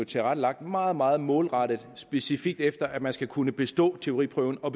tilrettelagt meget meget målrettet og specifikt efter at man skal kunne bestå teoriprøven og